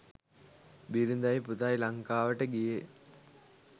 බිරිඳයි පුතයි ලංකාවට ගියේ.